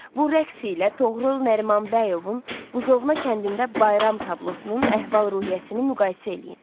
Bu rəqs ilə Toğrul Nərimanbəyovun Buzovna kəndində bayram tablosunun əhval-ruhiyyəsini müqayisə eləyin.